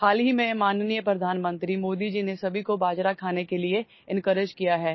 শেহতীয়াকৈ মাননীয় প্ৰধানমন্ত্ৰী মোদী জীয়ে সকলোকে বাজৰা খাবলৈ উৎসাহিত কৰিছিল